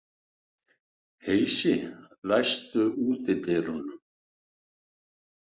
Heisi, læstu útidyrunum.